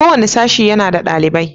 Kowane sashe yana da ɗalibai.